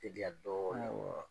wa?